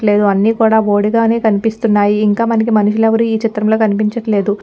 లేదు అనీ కూడా బోడిగానే కనిపిస్తున్నాయిఇంక మనుషులు ఎవ్వరూ ఈ చిత్రం లో కనిపించట్లేదు.